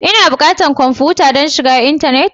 Ina buƙatan kwamfuta don shiga intanet?